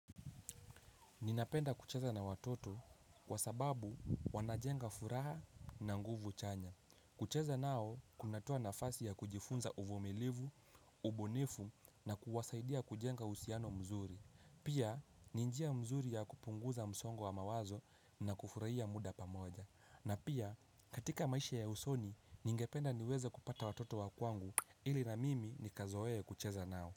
Ninapenda kucheza na watoto kwa sababu wanajenga furaha na nguvu chanya. Kucheza nao kunatoa nafasi ya kujifunza uvumilivu, ubunifu na kuwasaidia kujenga uhusiano mzuri. Pia ni njia mzuri ya kupunguza msongo wa mawazo na kufurahia muda pamoja. Na pia katika maisha ya usoni ningependa niweze kupata watoto wa kwangu ili na mimi nikazoe kucheza nao.